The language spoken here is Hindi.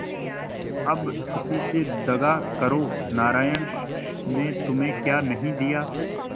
अब उसी से दगा करो नारायण ने तुम्हें क्या नहीं दिया